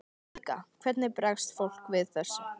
Helga: Hvernig bregst fólk við þessu?